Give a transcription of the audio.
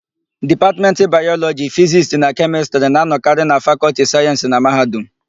Dipatmentị Bayọlọjị, Fizisti na Kemịstịrị na-anọkarị na Fakọlti Sayensị na mahadum.